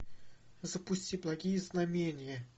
запусти благие знамения